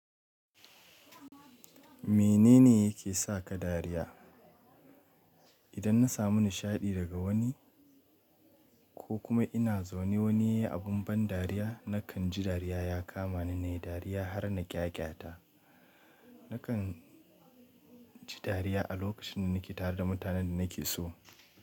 Menene yake sa ka dariya? Idan na samu nishaɗi daga wani ko kuma ina zaune wani yayi abun ban dariya nakan ji dariya ya kama ni na yi dariya har na ƙyaƙyata. Nakan ji dariya a lokacin da nake tare da mutanen da nake so.